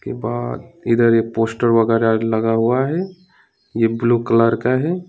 बहोत इधर एक पोस्टर वगेरा लगा हुआ है ये ब्लू कलर का है।